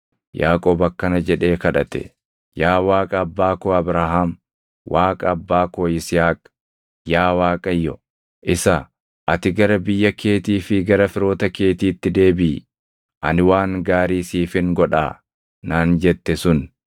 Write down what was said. Yaaqoob akkana jedhee kadhate; “Yaa Waaqa abbaa koo Abrahaam, Waaqa abbaa koo Yisihaaq, yaa Waaqayyo, isa ‘Ati gara biyya keetii fi gara firoota keetiitti deebiʼi, ani waan gaarii siifin godhaa’ naan jette sun,